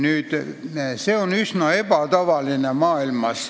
See on maailmas üsna ebatavaline.